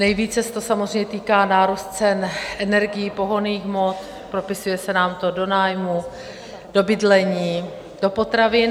Nejvíce se to samozřejmě týká nárůstu cen energií, pohonných hmot, propisuje se nám to do nájmu, do bydlení, do potravin.